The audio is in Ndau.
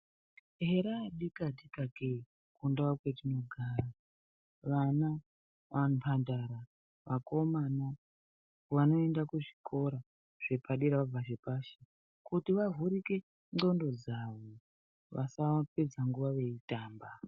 Hera adikatika ke kundau mwatinogara vana mambandara, vakomana vanoenda kuzvikora vana zvepashi kuti vavhurike ndxondo dzavo vasapedza nguwa veitamba.